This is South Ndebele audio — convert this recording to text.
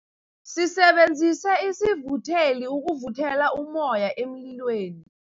Sisebenzise isivutheli ukuvuthela ummoya emlilweni.